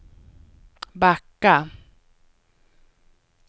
backa